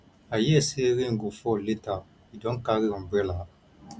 i hear say rain go fall later you don carry umbrella